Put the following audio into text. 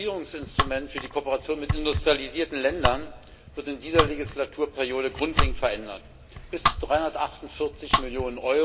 Das Finanzierungsinstrument für die Kooperation mit industrialisierten Ländern wird in dieser Legislaturperiode grundlegend verändert. Bis 348 Mio.